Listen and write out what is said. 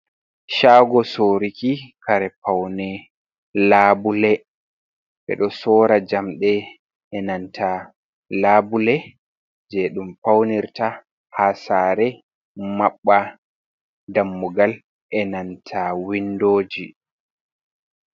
Shago soruki kare paune labule, ɓeɗo sora njamde e nanta labule je ɗum faunirta ha sare maɓɓa dammugal e nanta windoji.